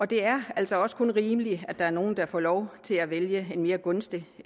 det er altså også kun rimeligt at der er nogle der får lov til at vælge en mere gunstig